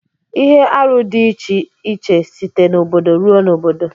Ihe arụ di iche site n'obodo ruo n'obodo.